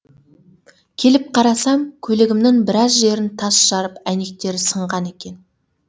келіп қарасам көлігімнің біраз жерін тас жарып әйнектері сынған екен